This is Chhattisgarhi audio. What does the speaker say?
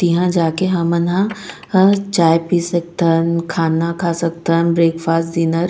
तिहा जाके हमन ह ना चाय पि सकथन खाना खा सकतथन ब्रेकफास्ट डिनर --